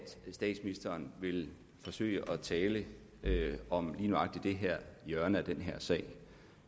statsministeren vil forsøge at tale om lige nøjagtig det her hjørne af den her sag